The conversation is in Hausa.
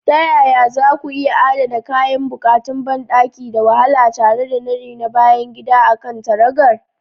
Ta yaya za ku iya adana kayan buƙatun banɗaki da wahala tare da nadi na bayan gida a kan taragar?